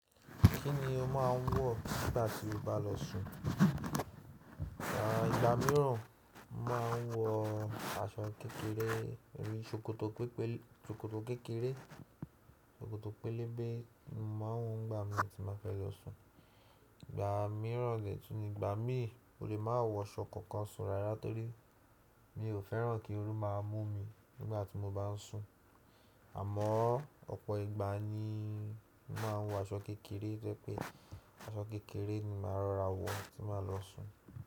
Kí ni o máa ń wọ̀ nígbà tí o bá lọ sùn? Ìgbà mìíràn máa ń wọ aṣọ kékeré, irú ṣòkòtò pépélè-- ṣòkòtò kékeré, ṣòkòtò pélébé ni mo má ń wọ̀ nígbà mi tí bá fẹ́ lọ sùn. Ìgbà mìíràn, ètùnígbà mí ò lè má wọ aṣọ kankan sùn rárá torí mi ò fẹ́ràn kí ooru máa mú mi nígbà tí mo bá ń sùn. Àmọ́ ọ̀pọ̀ ìgbà ni màá wọ aṣọ kékeré tojẹ́ pé aṣọ kékeré ni màá rọra wọ̀ tí màá lọ sùn.